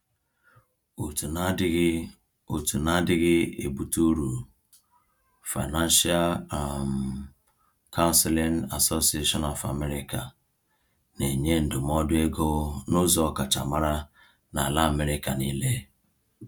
Òtù na-adịghị Òtù na-adịghị ebutu uru, Financial um Counseling Association of America, na-enye ndụmọdụ ego n’ụzọ ọkachamara n’ala America niile.